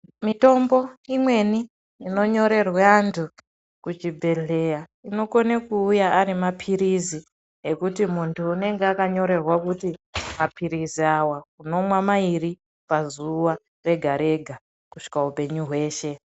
Mitombo imweni inonyorerwa antu kuchibhedhleya inokone kuuya ari mapirizi ekuti muntu anenge akanyorerwa kuti mapirizi awa unomwa mairi pazuwa rega rega kusvika upenyu hweshe